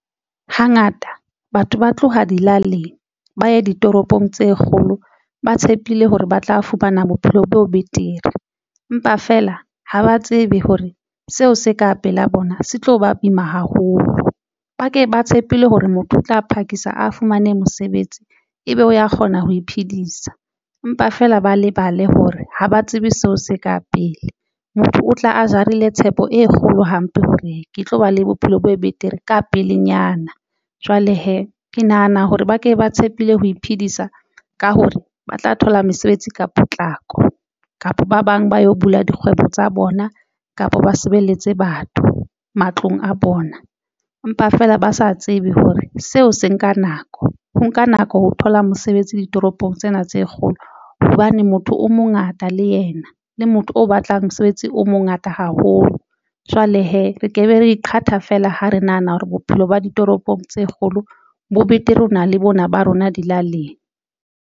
Hangata batho ba tloha dilaling ba ye ditoropong tse kgolo ba tshepile hore ba tla fumana bophelo bo betere, empa feela ha ba tsebe hore seo se ka pela bona se tlo ba boima haholo ba ke ba tshepile hore motho o tla phakisa a fumane mosebetsi ebe o ya kgona ho iphedisa empa feela ba lebale hore ha ba tsebe seo se ka pele motho o tla a jarile tshepo e kgolo hampe hore ke tlo ba le bophelo bo betere ka pelenyana jwale hee ke nahana hore ba ke ba tshepile ho iphedisa ka hore ba tla thola mesebetsi ka potlako kapa ba bang ba yo bula dikgwebo tsa bona kapa ba sebeletse batho matlong a bona, empa feela ba sa tsebe hore seo se nka nako. Ho nka nako ho thola mosebetsi ditoropong tsena tse kgolo hobane motho o mongata le yena le motho o batlang mosebetsi o mongata haholo. Jwale hee re ke be ra iqhatha feela ha re nahana hore bophelo ba ditoropong tse kgolo bo betere ho na le bona ba rona dilaleng.